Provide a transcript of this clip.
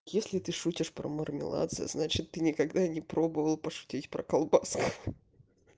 если ты шутишь про мармелад значит ты никогда не пробовал пошутить про колбаску